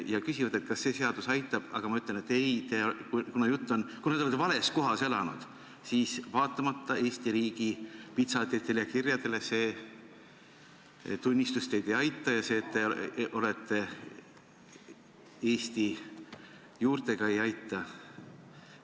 Nad küsivad, kas see seadus aitab, aga ma ütlen, et ei, kuna te olete vales kohas elanud, siis vaatamata Eesti riigi pitsatitele ja kirjadele see tunnistus teid ei aita ja see, et te olete eesti juurtega ei aita.